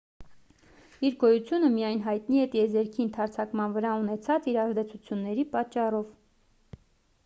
իր գոյությունը միայն հայտնի է տիեզերքի ընդարձակման վրա ունեցած իր ազդեցությունների պատճառով